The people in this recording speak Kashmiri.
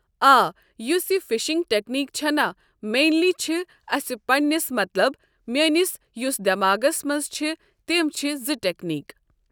آ یُس یہِ فشنٛگ ٹٮ۪کنیٖک چھَ نہ مینلی چھِ اسہِ پننس مطلب میٲنس یُس دٮ۪ماغس منٛز چھِ تِم چھِ زٕ ٹٮ۪کنیٖک۔